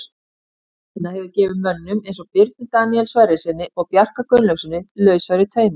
Hans vinna hefur gefið mönnum eins og Birni Daníel Sverrissyni og Bjarka Gunnlaugssyni lausari tauminn.